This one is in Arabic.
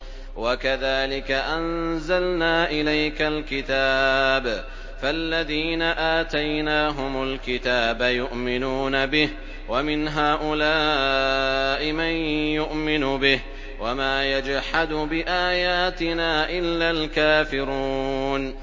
وَكَذَٰلِكَ أَنزَلْنَا إِلَيْكَ الْكِتَابَ ۚ فَالَّذِينَ آتَيْنَاهُمُ الْكِتَابَ يُؤْمِنُونَ بِهِ ۖ وَمِنْ هَٰؤُلَاءِ مَن يُؤْمِنُ بِهِ ۚ وَمَا يَجْحَدُ بِآيَاتِنَا إِلَّا الْكَافِرُونَ